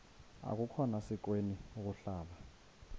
akukhona sikweni ukuhlala